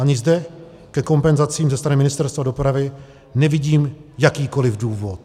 Ani zde ke kompenzacím ze strany Ministerstva dopravy nevidím jakýkoli důvod.